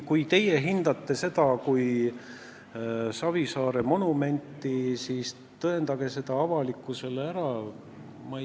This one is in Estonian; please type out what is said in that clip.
Kui teie hindate seda kui Savisaare monumenti, siis tõendage see avalikkusele ära.